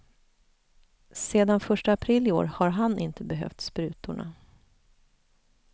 Sedan första april i år har han inte behövt sprutorna.